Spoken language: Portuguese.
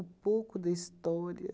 pouco da história